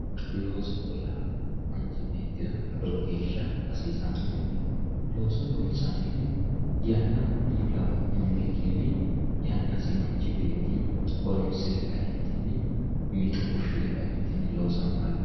loosoho yaa manchi beettira lowo geeshsha hasiisannoho looso loonsannihu yanna mullawa hunnikkinni yannasi manchi beetti horonsire kaeenti mixo fushshire kaeenti loosanno hayyooti.